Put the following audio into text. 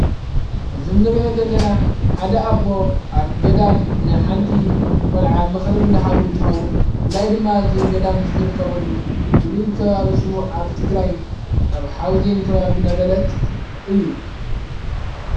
እዚ እንሪኦ ዘለና ሓደ ኣቦ ኣብ ገዳም ንሓንቲ ቈልዓ ምኽሪ እንዳሃቡ እንትኸውን ብፍላይ ድማ እዚ ገዳም ዝርከበሉ ፍሉይ ከባቢ ስሙ ኣብ ትግራይ ኣብ ሓውዜን ከባቢ ነበለት እዩ።